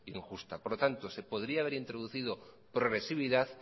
injusta por lo tanto se podría haber introducido progresividad